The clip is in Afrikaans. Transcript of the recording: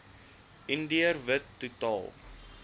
indiër wit totaal